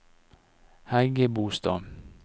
Hægebostad